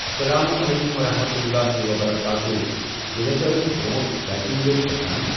السلام عليكم ورحمة الله وبركاته ییٚلہِ ہسا أسۍ برٛونٛٹھ ٹرٛیکنٛگ ٲسۍ گژھان۔